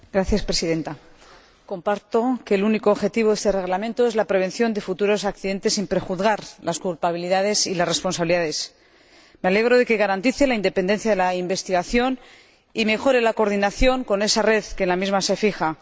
Señora Presidenta, comparto la opinión de que el único objetivo de este Reglamento es la prevención de futuros accidentes sin prejuzgar las culpabilidades y las responsabilidades. Me alegro de que garantice la independencia de la investigación y mejore la coordinación con esa red que en él se fija.